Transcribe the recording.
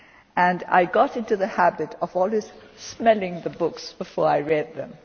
and I got into the habit of always smelling the books before I read them.